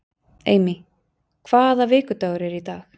Amy, hvaða vikudagur er í dag?